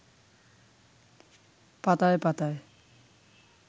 পাতায় পাতায়